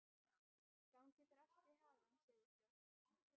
Gangi þér allt í haginn, Sigurfljóð.